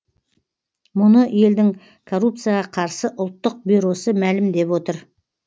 мұны елдің коррупцияға қарсы ұлттық бюросы мәлімдеп отыр